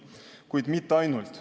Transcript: Kuid mitte ainult.